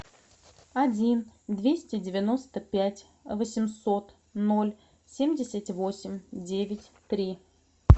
один двести девяносто пять восемьсот ноль семьдесят восемь девять три